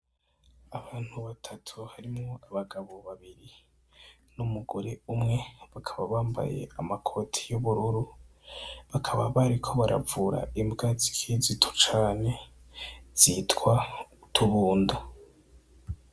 Abantu batatu barimwo abagabo babiri n'umugore umwe, bakaba bambaye amakoti y'ubururu bariko baravura imbwa zikiri zito cane zitwa utubunda.